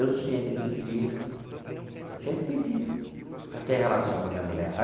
Eu tinha que pedir, eu tinha que pedir para ter relação com a minha mulher.